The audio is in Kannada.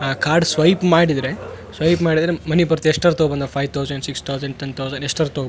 ಆ ಕಾರ್ಡ್ ಸ್ವೈಪ್ ಮಾಡಿದ್ರೆ ಸ್ವೈಪ್ ಮಾಡಿದ್ರೆ ಮನಿ ಬರ್ತ ಎಷ್ಟಾದ್ರು ತಗೊ five thousand six thousand ten thousand ಎಷ್ಟಾದ್ರು ತೊ --